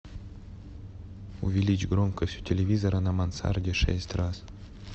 увеличь громкость у телевизора на мансарде шесть раз